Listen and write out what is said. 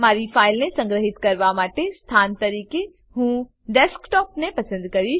મારી ફાઈલને સંગ્રહીત કરવાનાં સ્થાન તરીકે હું ડેસ્કટોપ ને પસંદ કરીશ